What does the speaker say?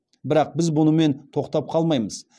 бірақ біз бұнымен тоқтап қалмаймыз